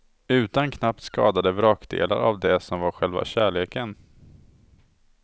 Utan knappt skadade vrakdelar av det som var själva kärleken.